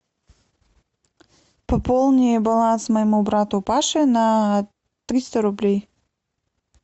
пополни баланс моему брату паше на триста рублей